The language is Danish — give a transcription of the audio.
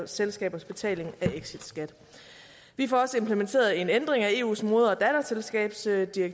selskabers betaling af exitskat vi får også implementeret en ændring af eus moder datterselskabsdirektiv